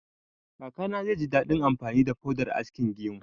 Kakana zai ji daɗin amfani da faudar askin gemu